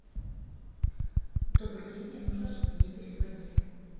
добрый день мне нужно чтобы мне перезвонили